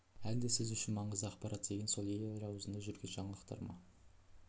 әлде сіз үшін маңызды ақпарат деген сол ел аузында жүрген жаңалықтар ма